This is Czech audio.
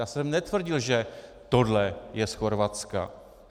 Já jsem netvrdil, že tohle je z Chorvatska.